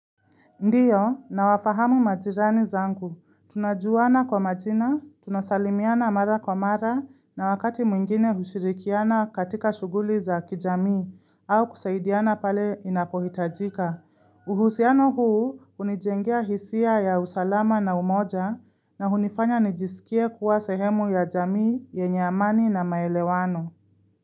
Ndiyo nawafahamu majirani zangu. Tunajuana kwa majina, tunasalimiana mara kwa mara na wakati mwingine hushirikiana katika shughuli za kijamii au kusaidiana pale inapohitajika. Uhusiano huu hunijengea hisia ya usalama na umoja na hunifanya nijisikie kuwa sehemu ya jamii yenye amani na maelewano.